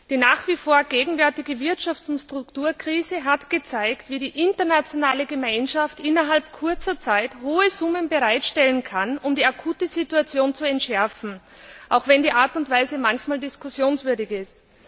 Die nach wie vor gegenwärtige Wirtschafts und Strukturkrise hat gezeigt, wie die internationale Gemeinschaft innerhalb kurzer Zeit hohe Summen bereitstellen kann, um die akute Situation zu entschärfen, auch wenn die Art und Weise manchmal diskussionswürdig ist.